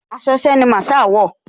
Aṣọ iṣẹ́ ni Masaa wọ̀